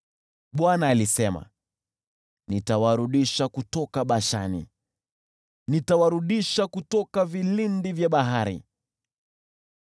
Bwana alisema, “Nitawarudisha kutoka Bashani; nitawarudisha kutoka vilindi vya bahari,